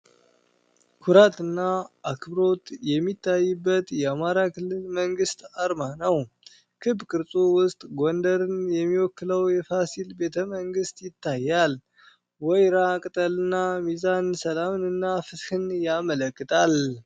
ኩራትና አክብሮት የሚታይበት የአማራ ክልል መንግስት አርማ ነው። ክብ ቅርጹ ውስጥ ጎንደርን የሚወክለው ፋሲል ቤተ መንግስት ይታያል። ወይራ ቅጠልና ሚዛን ሰላምንና ፍትህን ያመለከታል።